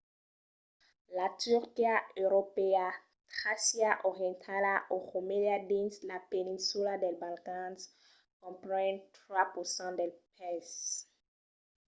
la turquia europèa tràcia orientala o romelia dins la peninsula dels balcans compren 3% del país